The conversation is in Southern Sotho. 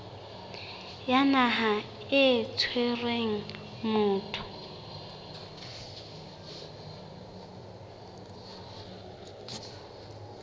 ya naha e tshwereng motho